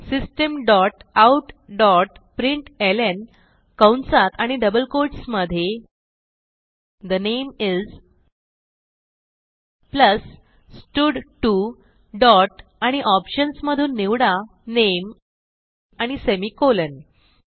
system dot out dot println कंसात आणि double quotes मधे ठे नामे इस प्लस स्टड2 dotआणि ऑप्शन्स मधून निवडा नामे आणि सेमिकोलॉन